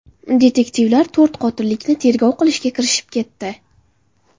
Detektivlar to‘rt qotillikni tergov qilishga kirishib ketdi.